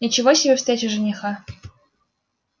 ничего себе встреча жениха